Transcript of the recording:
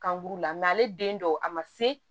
Kan b'u la ale den dɔw a ma se